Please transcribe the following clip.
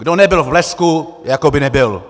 Kdo nebyl v Blesku, jako by nebyl.